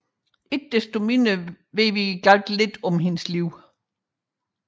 Ikke desto mindre vides der meget lidt om hendes liv